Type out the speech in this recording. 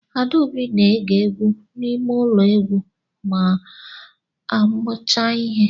Adaobi na-ege egwu n'ime ụlọ egwu ma a mucha ihe